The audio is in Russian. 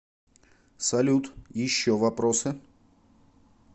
салют еще вопросы